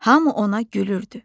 Hamı ona gülürdü.